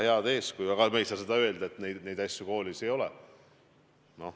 Samas me ei saa öelda, et niisuguseid asju koolis ei ole.